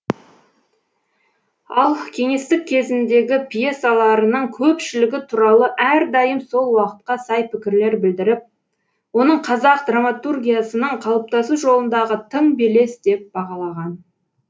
ал кеңестік кезеңдегі пьесаларының көпшілігі туралы әрдайым сол уақытқа сай пікірлер білдіріп оның қазақ драматургиясының қалыптасу жолындағы тың белес деп бағалаған